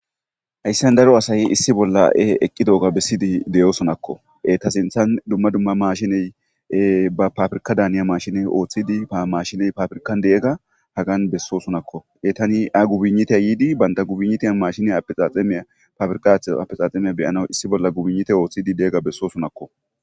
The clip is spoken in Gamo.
hayssan daro asaye issi bolla7e eqqi dooga bessidi deyosonakko e ta sinthan dumma dumma mashiney ba pafirka daaniya mashine ooththidi paa mashiney pafirkan deegga hagan bessosonakko e tani a gubinitey yiidi baynta gubinnitiyan mashineya aexaaxamiya pafirika at apexaaxemiya beyanaw issi bolla gubinnite ooththidi deega bessosonakko